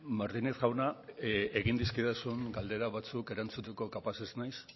martínez jauna egin dizkidazun galdera batzuk erantzuteko kapaz ez naiz